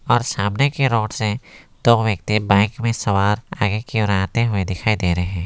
और सामने कि रोड से दो व्यक्ति बाइक में सवार आगे कि ओर आते हुए दिखाई दे रहे हैं।